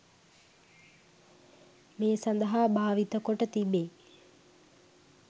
මේ සඳහා භාවිත කොට තිබේ